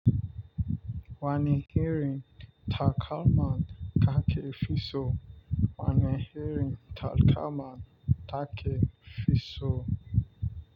Wani herin takalman kake fisu wani herin takalman take fisu.